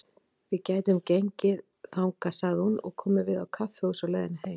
Við gætum gengið þangað, sagði hún, og komið við á kaffihúsi á leiðinni heim.